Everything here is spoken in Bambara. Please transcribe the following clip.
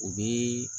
U bɛ